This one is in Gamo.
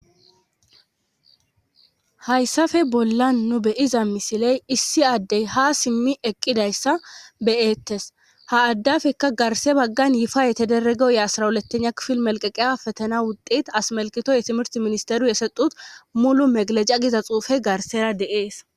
hayssafe bolla nu beyiza misiley issi addey ha simmi eqqidayssa beyettes ha addafekka garse baggan yifaa yetederege ye asrawuletena kifil melqeqeya fetena wutet asmelkito yetimirt ministeru yeseut mulu meglecha giza xuufe garsera deees